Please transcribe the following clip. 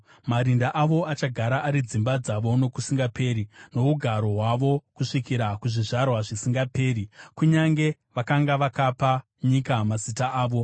Marinda avo achagara ari dzimba dzavo nokusingaperi, nougaro hwavo kusvikira kuzvizvarwa zvisingaperi, kunyange vakanga vakapa nyika mazita avo.